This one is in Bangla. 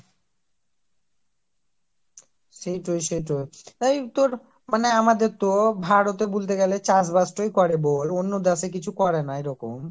সেইটো সেইটো এই তোর মানে আমাদের তো ভারতে বলতে গেলে চাষবাস করে বল, অন্য দেশে কিছু করেন এরকম